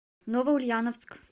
новоульяновск